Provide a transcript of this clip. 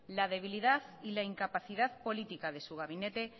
la debilidad y la incapacidad política de su gabinete